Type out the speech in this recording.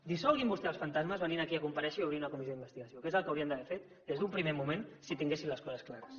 dissolguin vostès els fantasmes venint aquí a comparèixer i obrint una comissió d’investigació que és el que haurien d’haver fet des d’un primer moment si tinguessin les coses clares